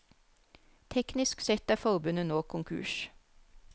Teknisk sett er forbundet nå konkurs.